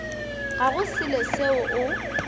ga go selo seo o